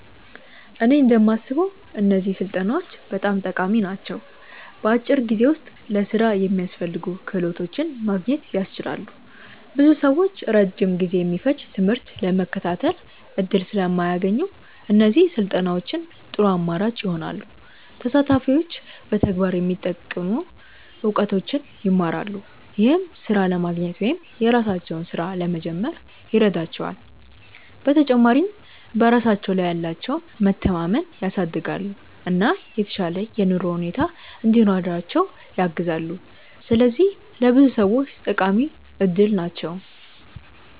እኔ እንደማስበው እነዚህ ስልጠናዎች በጣም ጠቃሚ ናቸው። በአጭር ጊዜ ውስጥ ለሥራ የሚያስፈልጉ ክህሎቶችን ማግኘት ያስችላሉ። ብዙ ሰዎች ረጅም ጊዜ የሚፈጅ ትምህርት ለመከታተል እድል ስለማያገኙ፣ እነዚህ ስልጠናዎች ጥሩ አማራጭ ይሆናሉ። ተሳታፊዎች በተግባር የሚጠቅሙ እውቀቶችን ይማራሉ፣ ይህም ሥራ ለማግኘት ወይም የራሳቸውን ሥራ ለመጀመር ይረዳቸዋል። በተጨማሪም በራሳቸው ላይ ያላቸውን መተማመን ያሳድጋሉ፣ እና የተሻለ የኑሮ ሁኔታ እንዲኖራቸው ያግዛሉ። ስለዚህ ለብዙ ሰዎች ጠቃሚ እድል ናቸው።